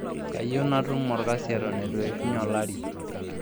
Kayieu natum olkjasi eton eitu eishunye olari.